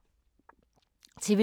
TV 2